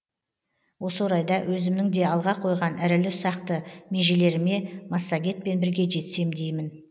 осы орайда өзімнің де алға қойған ірілі ұсақты межелеріме массагетпен бірге жетсем деймін